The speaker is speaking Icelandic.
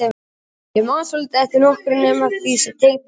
Ég man svo lítið eftir nokkru nema því sem tengdist okkur fjórum.